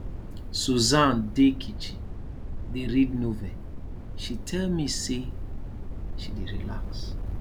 susan dey kitchen dey read novel she tell me say she dey relax